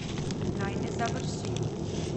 Naj ne završi.